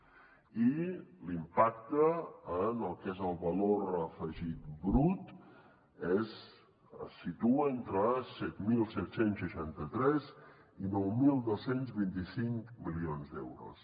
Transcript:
i l’impacte en el que és el valor afegit brut es situa entre set mil set cents i seixanta tres i nou mil dos cents i vint cinc milions d’euros